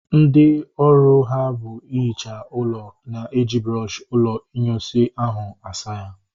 Ndị ọrụ ha bụ ihicha ụlọ na-eji brọọshi ụlọ inyunsi ahụ asa ya